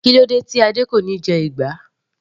Kílódé tí Adé kò níí jẹ ìgbá.